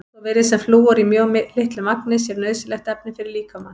Svo virðist sem flúor í mjög litlu magni sé nauðsynlegt efni fyrir líkamann.